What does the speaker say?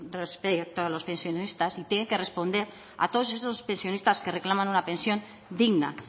respecto a los pensionistas y tiene que responder a todos esos pensionistas que reclaman una pensión digna